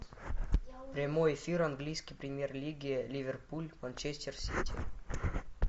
прямой эфир английской премьер лиги ливерпуль манчестер сити